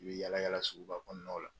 I be yaala yaala suguba kɔɔnaw la.